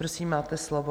Prosím, máte slovo.